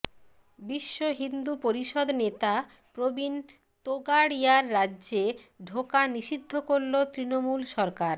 বিশ্ব হিন্দু পরিষদ নেতা প্রবীণ তোগাড়িয়ার রাজ্যে ঢোকা নিষিদ্ধ করল তৃণমূল সরকার